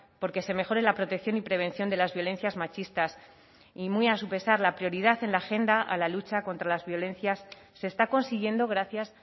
por que se mejore la protección y prevención de las violencias machistas y muy a su pesar la prioridad en la agenda a la lucha contra las violencias se está consiguiendo gracias